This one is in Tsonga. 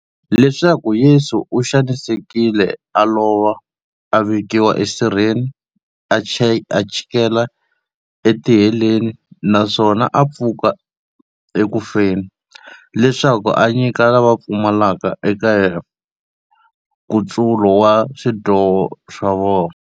Leswaku Yesu u xanisekile, a lova, a vekiwa esirheni, a chikela etiheleni, naswona a pfuka eku feni, leswaku a nyika lava va pfumelaka eka yena, nkutsulo wa swidyoho swa vona.